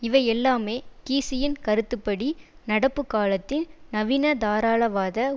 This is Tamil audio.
இவை எல்லாமே கீஸியின் கருத்து படி நடப்பு காலத்தின் நவீனதாராளவாத